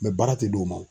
baara ti d'o ma